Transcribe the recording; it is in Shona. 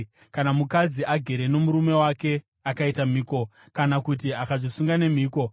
“Kana mukadzi agere nomurume wake akaita mhiko kana kuti akazvisunga nemhiko